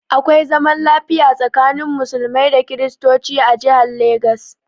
Akwai zaman lafiya tsakanin Musulmai da Kristocin a jihan Legas